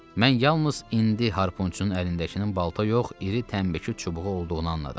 Mən yalnız indi harpunçunun əlindəkinin balta yox, iri təmbəki çubuğu olduğunu anladım.